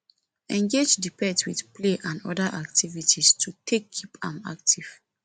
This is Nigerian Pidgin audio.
engage di pet with play and oda activities to take keep am active